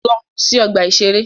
Lọ sí ọgbà-ìṣeré!